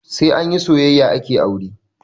Sai anyi soyayya ake aure